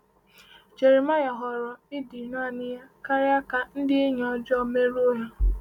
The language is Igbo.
Jeremaịa họọrọ ịdị naanị ya karịa ka ndị enyi ọjọọ merụọ ya.